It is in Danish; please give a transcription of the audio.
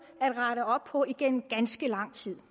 at rette op på igennem ganske lang tid